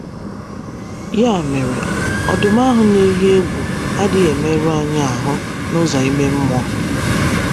Ya mere, “ ọdụm ” ahụ na - eyi egwu adịghị emerụ anyị ahụ n’ụzọ ime mmụọ.